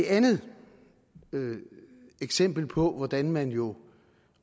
andet eksempel på hvordan man jo